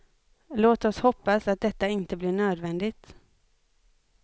Låt oss hoppas att detta inte blir nödvändigt.